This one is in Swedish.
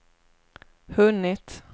hunnit